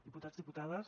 diputats diputades